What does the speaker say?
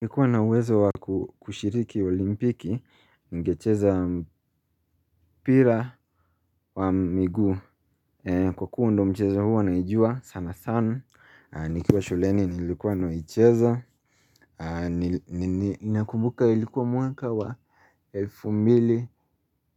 Ningekuwa na uwezo wa kushiriki olimpiki ningecheza mpira wa miguu kwa kuwa ndio mcheza huwa naijua sana sana nikiwa shuleni nilikuwa naicheza ninakumbuka ilikuwa mwaka wa elfu mbili